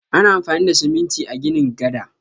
Ana amfani da siminti a ginin gada.